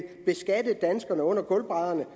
beskatte danskerne under gulvbrædderne